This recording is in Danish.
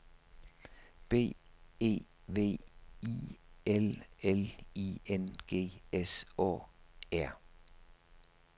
B E V I L L I N G S Å R